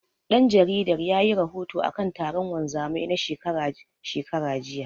Ɗan jaridar yayi rahoto akan taron wanzamai na shekara shekara, jiya.